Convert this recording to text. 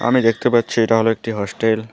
আমি দেখতে পাচ্ছি এটা হল একটি হস্টেল ।